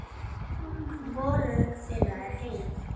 Hvorug þeirra er heil.